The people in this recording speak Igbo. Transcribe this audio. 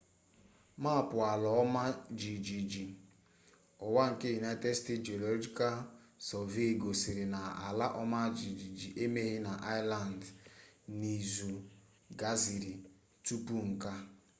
maapụ ala ọma jijiji ụwa nke united states geological survey gosiri na ala ọma jijiji emeghị na iceland n'izu gasịrị tupu nke a